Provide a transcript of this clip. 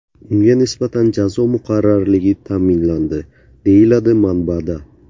Unga nisbatan jazo muqarrarligi ta’minlandi, deyiladi manbada.